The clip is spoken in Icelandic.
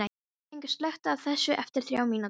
Fengur, slökktu á þessu eftir þrjár mínútur.